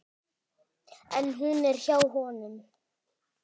En hún er hjá honum.